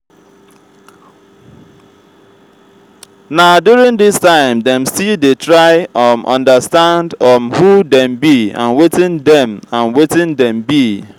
na during this time dem still dey try um understand um who dem be and wetin dem and wetin dem be